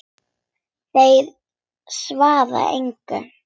Þeir svara engu.